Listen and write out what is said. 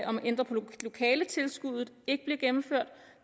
om at ændre på lokaletilskuddet ikke blev gennemført